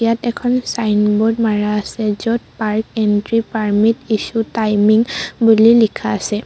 ইয়াত এখন চাইনব'ৰ্ড মাৰা আছে য'ত park entry permit issue timing বুলি লিখা আছে।